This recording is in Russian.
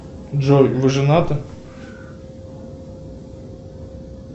джой вы женаты